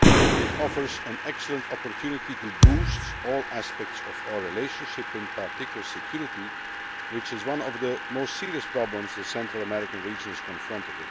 It offers an excellent opportunity to boost all aspects of our relationship, in particular security, which is one of the most serious problems with which the Central American region is confronted.